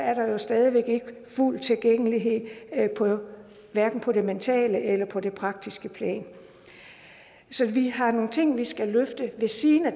er der jo stadig væk ikke fuld tilgængelighed hverken på det mentale eller på det praktiske plan så vi har nogle ting vi skal løfte ved siden af